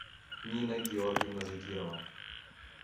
нина георгиевна закирова